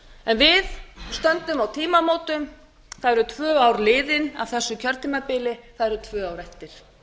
en við stöndum á tímamótum það eru tvö ár liðin af þessu kjörtímabili það eru tvö ár eftir